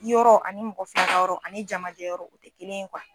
Yɔrɔ ani mɔgɔ fila ka yɔrɔ ani jamajɛ yɔrɔ o tɛ kelen ye